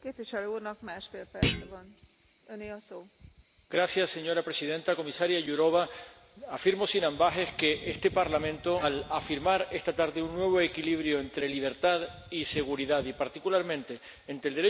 Señora Presidenta, Comisaria Jourová, afirmo sin ambages que este Parlamento, al establecer esta tarde un nuevo equilibrio entre libertad y seguridad y, particularmente, entre el derecho a la seguridad y la confidencialidad de los datos personales está haciendo historia.